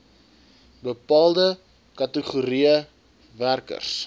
bepaalde kategorieë werkers